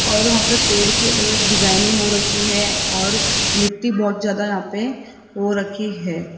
और वहां पे पेड़ की अलग अलग डिजाइनिंग हो रखी है और मिट्टी बहुत ज्यादा यहां पे हो रखी है।